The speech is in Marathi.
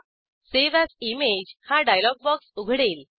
सावे एएस इमेज हा डायलॉग बॉक्स उघडेल